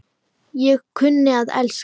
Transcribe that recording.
Ég kunni að elska.